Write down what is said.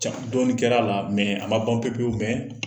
Can dɔɔni kɛr'a la a ma ban pepewu